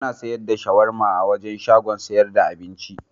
Ana sayar da shawarma a wancan shagon sayar da abincin.